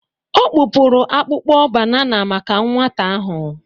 Ọ kpụpụrụ akpụkpọ banana maka nwata ahụ.